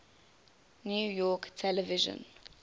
new york television